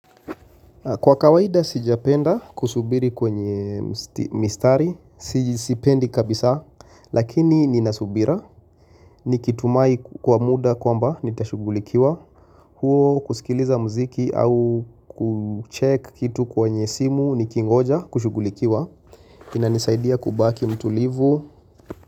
Kwa kawaida sijapenda kusubiri kwenye mistari, sijisipendi kabisa lakini nina subira nikitumai kwa muda kwamba nitashugulikiwa, huo kusikiliza mziki au kucheck kitu kwenye simu nikingoja kushugulikiwa inanisaidia kubaki mtulivu.